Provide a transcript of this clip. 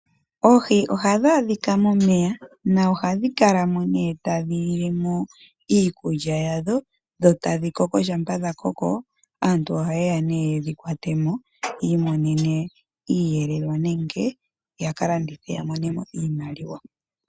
Oohi ohadhi adhika momeya nohadhi kalamo tadhi lilemo iikulya yadho, dho tadhi koko. Ngele dhakoko aantu ohaye ya yedhi kwatemo yiimonenemo Iiyelelwa nenge yaka landithe ya mone mo iimaliwa.